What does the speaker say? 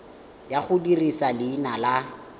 ya go dirisa leina la